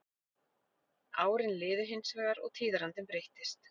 Árin liðu hins vegar og tíðarandinn breyttist.